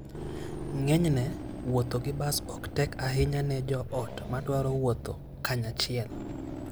Ng'enyne, wuotho gi bas ok tek ahinya ne joot madwaro wuotho kanyachiel.